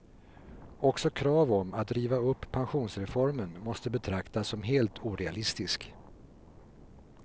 Också krav om att riva upp pensionsreformen måste betraktas som helt orealistiskt.